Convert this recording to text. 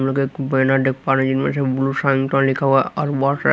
एक बना देख पा रहे हैं इन में से ब्लू साईन का लिखा हुआ है और बहुत सारा--